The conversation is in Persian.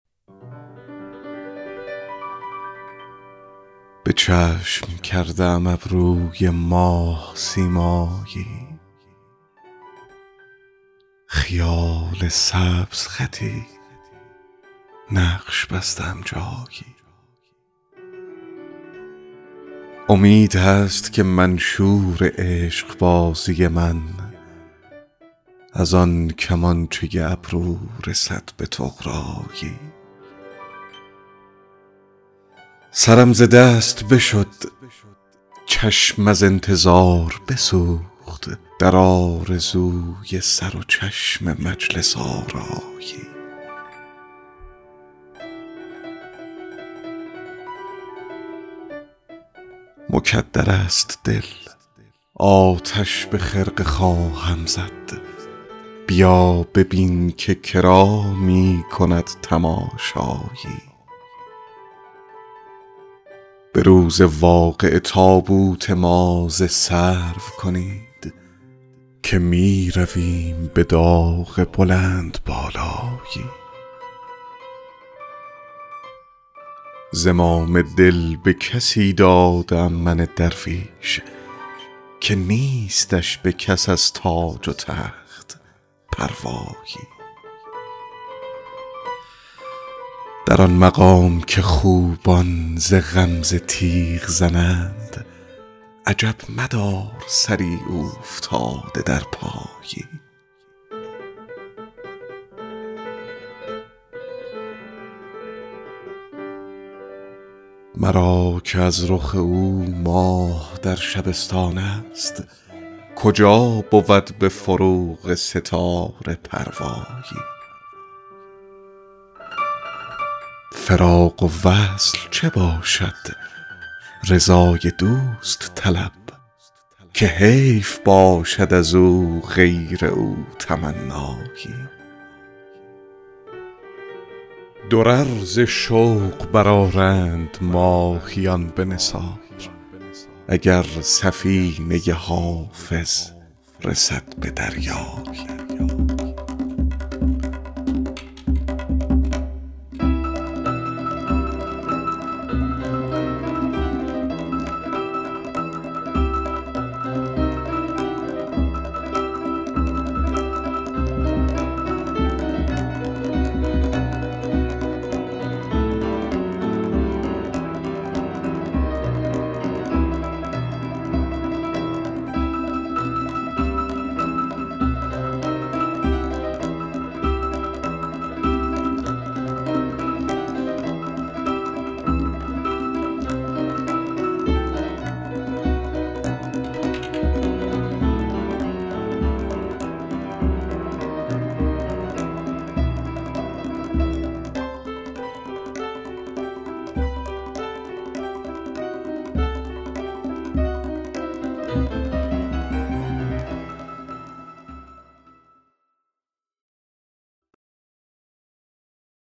به چشم کرده ام ابروی ماه سیمایی خیال سبزخطی نقش بسته ام جایی امید هست که منشور عشق بازی من از آن کمانچه ابرو رسد به طغرایی سرم ز دست بشد چشم از انتظار بسوخت در آرزوی سر و چشم مجلس آرایی مکدر است دل آتش به خرقه خواهم زد بیا ببین که کرا می کند تماشایی به روز واقعه تابوت ما ز سرو کنید که می رویم به داغ بلندبالایی زمام دل به کسی داده ام من درویش که نیستش به کس از تاج و تخت پروایی در آن مقام که خوبان ز غمزه تیغ زنند عجب مدار سری اوفتاده در پایی مرا که از رخ او ماه در شبستان است کجا بود به فروغ ستاره پروایی فراق و وصل چه باشد رضای دوست طلب که حیف باشد از او غیر او تمنایی درر ز شوق برآرند ماهیان به نثار اگر سفینه حافظ رسد به دریایی